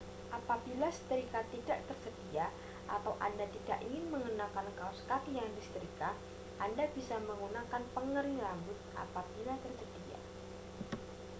apabila setrika tidak tersedia atau anda tidak ingin mengenakan kaos kaki yang disetrika anda bisa menggunakan pengering rambut apabila tersedia